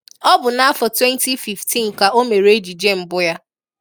Ọ bụ n'afọ 2015 ka o mere éjijé mbụ ya.